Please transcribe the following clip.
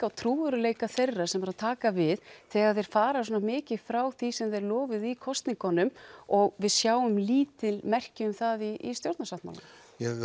á trúverðugleika þeirra sem eru að taka við þegar þeir fara svona mikið frá því sem þeir lofuðu í kosningunum og við sjáum lítil merki um það í stjórnarsáttmálanum við